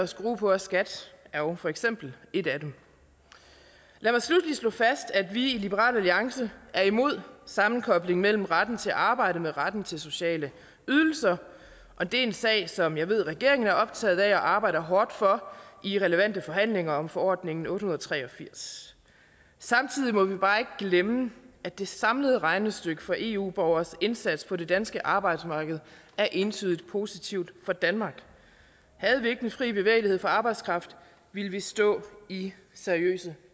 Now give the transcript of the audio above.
skrue på skat er jo for eksempel et af dem lad mig sluttelig slå fast at vi i liberal alliance er imod sammenkoblingen af retten til arbejde med retten til sociale ydelser det er en sag som jeg ved regeringen er optaget af og arbejder hårdt for i relevante forhandlinger om forordning otte hundrede og tre og firs samtidig må vi bare ikke glemme at det samlede regnestykke for eu borgernes indsats på det danske arbejdsmarked er entydigt positivt for danmark havde vi ikke den fri bevægelighed for arbejdskraft ville vi stå i seriøse